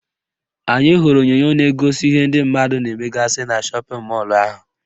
Anyị hụrụ onyonyo na-egosi ihe ndị mmadụ na-emegasị na shọpịn mọlụ ahụ